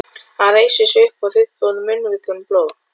Hann reisir sig upp og þurrkar úr munnvikunum blóð.